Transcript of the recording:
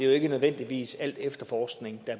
det ikke nødvendigvis er al efterforskning der